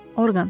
Orqan.